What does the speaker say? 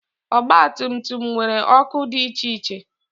ọgba tum tum nwere ọkụ dị iche iche